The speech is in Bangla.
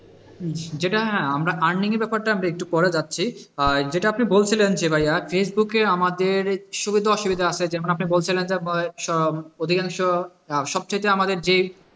যেটা আমরা earning এর ব্যাপারটা একটু পরেই যাচ্ছি যেটা আপনি বলছিলেন যে ভাইয়া ফেসবুকে আমাদের সুবিধা অসুবিধা আসে যেমন আপনি বলছিলেন যে অধিকাংশ সবথেকে আমাদের যে,